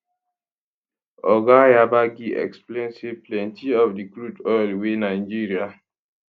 oga yabagi explain say plenty of di crude oil wey nigeria